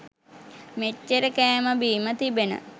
මෙච්චර කෑම බීම තිබෙන